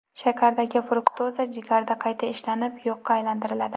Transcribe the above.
Shakardagi fruktoza jigarda qayta ishlanib, yoqqa aylantiriladi.